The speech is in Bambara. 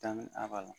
a ba la